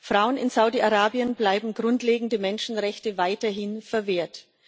Frauen in Saudi-Arabien bleiben grundlegende Menschenrechte weiterhin verwehrt.